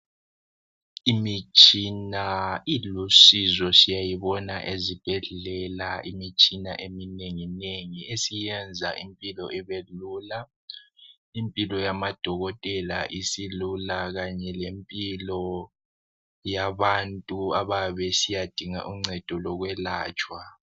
Imitshina ilusizo siyayibona ezibhedlela imitshina eminenginengi esiyenza impilo ibe lula. Impilo yemadokotela isilula kanye lempilo yabantu abayabe besuyadinga uncedo lokwelatshwa.